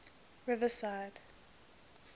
riverside